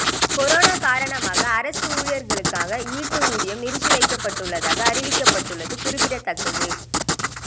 corona காரணமாக அரசு ஊழியர்களுக்காக ஈட்டு ஊதியம் நிறுத்தி வைக்கப்படுவதாக அறிவித்துள்ளது குறிப்பிடத்தக்கது